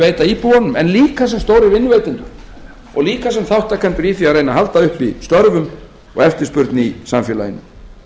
veita íbúunum en líka sem stórir vinnuveitendur og líka sem þátttakendur í því að reyna að halda uppi störfum og eftirspurn í samfélaginu